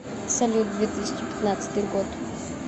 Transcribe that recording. салют две тысяча пятнадцатый год